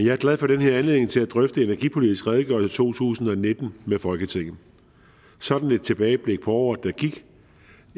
er glad for den her anledning til at drøfte energipolitisk redegørelse to tusind og nitten med folketinget sådan et tilbageblik på året der gik